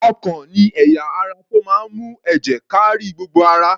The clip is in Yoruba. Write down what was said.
Ọkàn ni ẹ̀yà ara tó máa ń mú èjè káárí gbogbo ara.